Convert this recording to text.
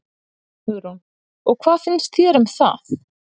Hugrún: Og hvað finnst þér um það?